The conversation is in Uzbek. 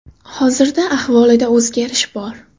Hozirda ahvolida o‘zgarish bor.